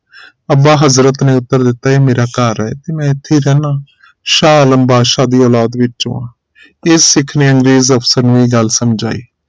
ਅੱਬਾ ਹਜ਼ਰਤ ਨੇ ਉੱਤਰ ਦਿੱਤਾ ਇਹ ਮੇਰਾ ਘਰ ਹੈ ਮੈਂ ਇਥੇ ਹੀ ਰਹਿਣਾ ਸ਼ਾਹ ਆਲਮ ਬਾਦਸ਼ਾਹ ਵਿਚੋ ਹਾਂ ਤੇ ਸਿੱਖ ਨੇ ਅੰਗਰੇਜ਼ ਅਫਸਰ ਨੂੰ ਇਹ ਗੱਲ ਸਮਝਾਈ